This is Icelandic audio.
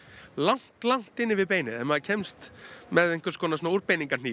langt langt inni við beinið ef maður kemst með einhvers konar